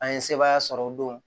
An ye sebaaya sɔrɔ o don